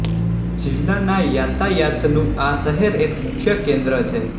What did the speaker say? જિલ્લાના યાતાયાતનું આ શહેર એક મુખ્ય કેન્દ્ર છે